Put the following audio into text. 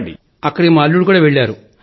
అక్కడికి మా అల్లుడు కూడా వెళ్లారు